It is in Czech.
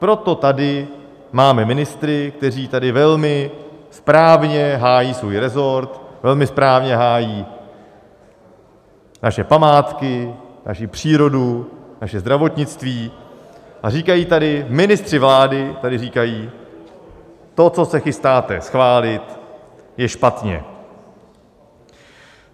Proto tady máme ministry, kteří tady velmi správně hájí svůj resort, velmi správně hájí naše památky, naši přírodu, naše zdravotnictví a říkají tady - ministři vlády tady říkají: to, co se chystáte schválit, je špatně.